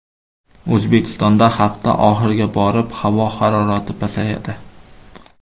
O‘zbekistonda hafta oxiriga borib havo harorati pasayadi.